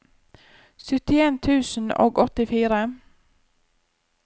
syttien tusen og åttifire